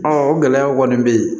o gɛlɛyaw kɔni bɛ yen